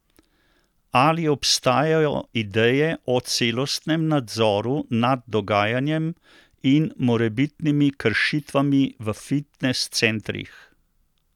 Ali obstajajo ideje o celostnem nadzoru nad dogajanjem in morebitnimi kršitvami v fitnes centrih?